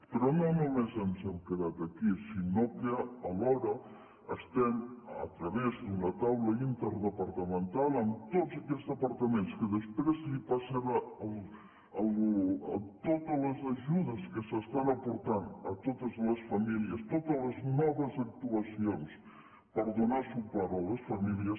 però no només ens hem quedat aquí sinó que alhora estem a través d’una taula interdepartamental amb tots aquells departaments que després passaran totes les ajudes que s’estan aportant a totes les famílies totes les noves actuacions per donar suport a les famílies